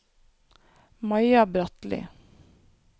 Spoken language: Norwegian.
Maja Bratli